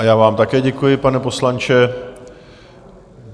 A já vám také děkuji, pane poslanče.